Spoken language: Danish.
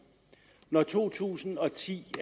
når to tusind og ti